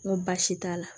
N ko baasi t'a la